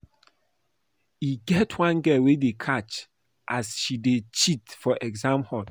E get one girl wey dey catch as she dey cheat for exam hall